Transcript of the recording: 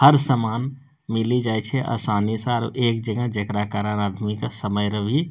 हर समान मिली जाय छै आसानी से आर एक जगह जेकरा कारण आदमी के समयर भी --